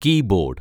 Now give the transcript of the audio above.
key board